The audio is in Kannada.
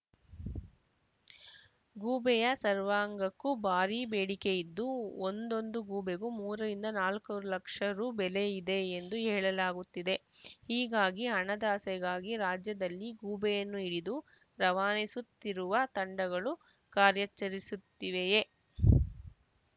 ಗೂಬೆಯ ಸರ್ವಾಂಗಕ್ಕೂ ಭಾರೀ ಬೇಡಿಕೆಯಿದ್ದು ಒಂದೊಂದು ಗೂಬೆಗೂ ಮೂರರಿಂದ ನಾಲ್ಕು ಲಕ್ಷ ರು ಬೆಲೆ ಇದೆ ಎಂದು ಹೇಳಲಾಗುತ್ತಿದೆ ಹೀಗಾಗಿ ಹಣದಾಸೆಗಾಗಿ ರಾಜ್ಯದಲ್ಲಿ ಗೂಬೆಯನ್ನು ಹಿಡಿದು ರವಾನಿಸುತ್ತಿರುವ ತಂಡಗಳು ಕಾರ್ಯಾಚರಿಸುತ್ತಿವೆಯೇ